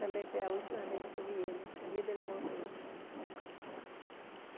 Também foi a última vez que eu vi ele, em seguida ele morreu.